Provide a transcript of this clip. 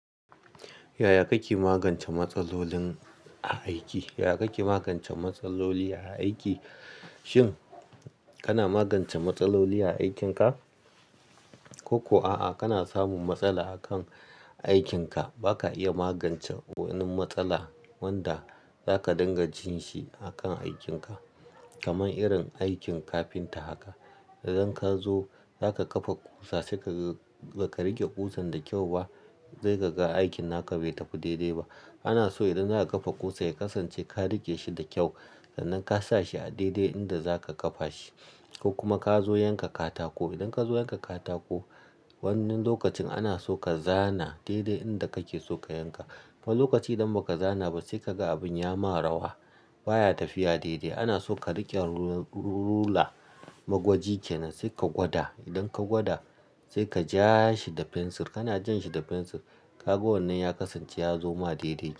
Yaya kake magance matsaloli a aiki? Yaya kake magance matsaloli a aiki? Shin kana magance matsaloli a aikinka? Ko kuwa a'a, kana samun matsala akan aikinka? Ba ka iya magance wani matsala wanda zaka dinga jin shi akan aikin ka. Kaman irin aikin kafinta haka. Idan ka zo zaka kafa ƙusa sai ka, ba ka rike ƙusan da kyau ba, sai ka ga aikin na ka bai tafi daidai ba. Ana so idan za a kafa ƙusa ya kasance ka rike shi da kyau. Sannan ka sa shi a daidai inda zaka kafa shi. Ko kuma ka zo yanka katako. Idan ka zo yanka katako, wannan lokacin ana so ka zana daidai inda kake so ka yanka. Wani lokaci idan ba ka zana ba sai ka ga abin ya ma rawa. Ba ya tafiya daidai. Ana so ka rike ruler, magwaji kenan sai ka gwada. Idan ka gwada sai ka ja shi da fensir. Kana jan shi da fensir, ka ga wannan ya kasance ya zo ma daidai.